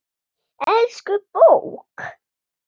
Elsku bók!